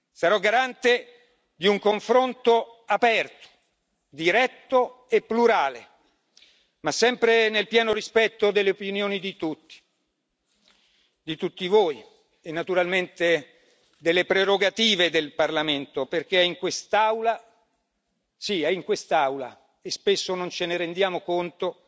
Sarò garante di un confronto aperto, diretto e plurale, ma sempre nel pieno rispetto delle opinioni di tutti voi e, naturalmente, delle prerogative del Parlamento, perché è in quest'Aula si è in quest'Aula e spesso non ce ne rendiamo conto